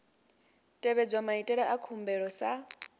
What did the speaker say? tevhedzwa maitele a khumbelo sa